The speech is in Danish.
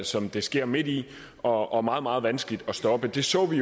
som det sker midt i og og meget meget vanskeligt at stoppe det så vi